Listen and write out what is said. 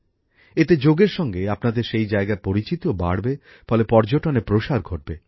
এতে যোগের সঙ্গে আপনাদের সেই জায়গার পরিচিতিও বাড়বে ফলে পর্যটনের প্রসার ঘটবে